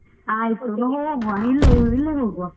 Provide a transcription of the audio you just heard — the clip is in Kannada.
ಆಯಿತು ಇಲ್ಲೇ ಇಲ್ಲೇ ಹೋಗುವ.